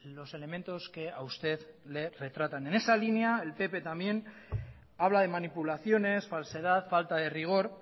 los elementos que a usted le retratan en esa línea el pp también habla de manipulaciones falsedad falta de rigor